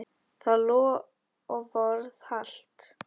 Það loforð halt.